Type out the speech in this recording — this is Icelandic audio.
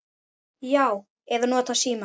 Já. eða notað símann.